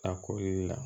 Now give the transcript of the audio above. A kori la